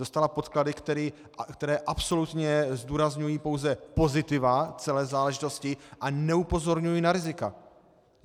Dostala podklady, které absolutně zdůrazňují pouze pozitiva celé záležitosti a neupozorňují na rizika.